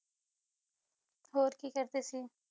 ਹੋਰ ਕੀ ਕਰਦੇ ਸੀ